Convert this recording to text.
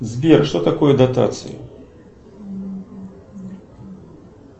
сбер что такое дотации